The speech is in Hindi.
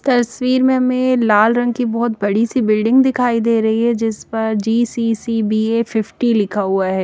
तस्वीर में हमें लाल रंग की बहुत बड़ी सी बिल्डिंग दिखाई दे रही है जिस पर जी_सी_सी_बी_ए फिफ्टी लिखा हुआ है।